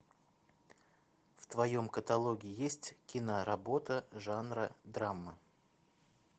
в твоем каталоге есть киноработа жанра драма